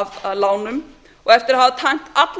af lánum og eftir að hafa tæmt alla